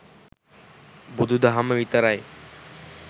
බුදු දහම විතරයි